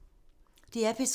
DR P3